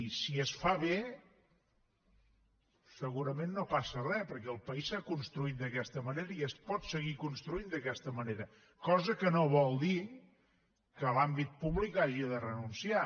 i si es fa bé segurament no passa re perquè el país s’ha construït d’aquesta manera i es pot seguir construint d’aquesta manera cosa que no vol dir que l’àmbit públic hi hagi de renunciar